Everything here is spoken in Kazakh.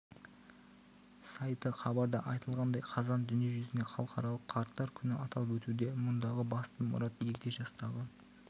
сайты хабарда айтылғандай қазан дүниежүзінде халықаралық қарттар күні аталып өтуде мұндағы басты мұрат егде жастағы